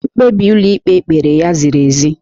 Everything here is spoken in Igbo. Mkpebi ụlọikpe kpere ya ziri ezi.